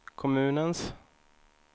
kommunens